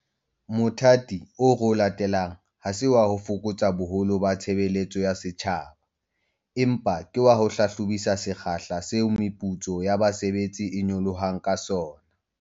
Mothati oo re o latelang ha se wa ho fokotsa boholo ba tshebeletso ya setjhaba, empa ke wa ho hlahlobisisa sekgahla seo meputso ya basebetsi e nyolohang ka sona.